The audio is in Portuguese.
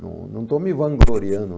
Não não estou me vangloriando